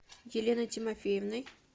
еленой тимофеевной